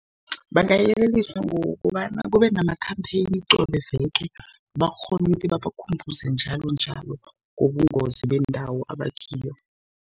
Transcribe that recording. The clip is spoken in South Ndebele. Bangayeleliswa ngokobana kube namakhampheyini qobe veke, bakghone ukuthi babakhumbuze njalonjalo ngobungozi bendawo abakiyo.